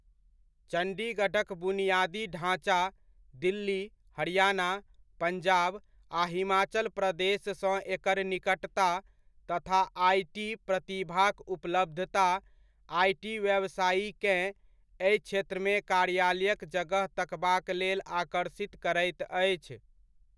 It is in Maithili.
चण्डीगढ़क बुनियादी ढाँचा, दिल्ली, हरियाणा, पञ्जाब आ हिमाचल प्रदेशसँ एकर निकटता तथा आइ.टी. प्रतिभाक उपलब्धता आइ.टी व्यवसायीकेँ एहि क्षेत्रमे कार्यालयक जगह तकबाक लेल आकर्षित करैत अछि।